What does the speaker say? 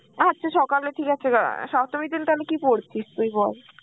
আচ্ছা সকাল বেলা ঠিক আছে অ্যাঁ সপ্তমীর দিন তাহলে কি পরছিস তুই বল?